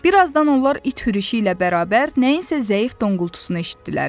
Bir azdan onlar it hürüşü ilə bərabər nəyinsə zəif donqultusunu eşitdilər.